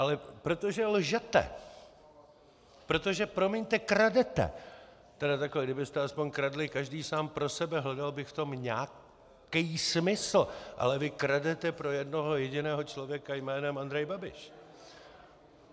Ale protože lžete, protože, promiňte, kradete - tedy takhle, kdybyste aspoň kradli každý sám pro sebe, hledal bych v tom nějaký smysl, ale vy kradete pro jednoho jediného člověka jménem Andrej Babiš.